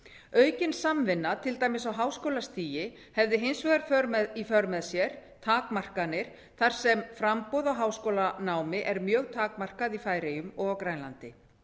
aukin samvinna til dæmis á háskólastigi hefði hins vegar í för með sér takmarkanir þar sem framboð á háskólanámi er mjög takmarkað í færeyjum og á grænlandi